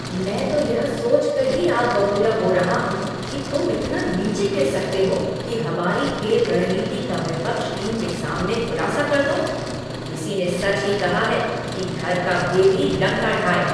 मैं तो यह सोच कर ही आग बबूला हो रहा हूँ की तुम इतना नीचे गिर सकते हो कि हमारी खेल रणनीति का विपक्ष टीम के सामने खुलासा कर दो। किसी ने सच ही कहा है कि घर का भेदी लंका ढाए।